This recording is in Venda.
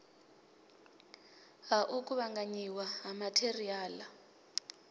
ha u kuvhanganyiwa ha matheriala